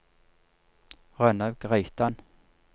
Rønnaug Reitan